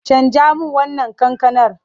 Canja min wannan kankanar!